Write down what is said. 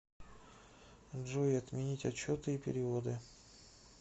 джой отменить отчеты и переводы